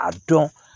A dɔn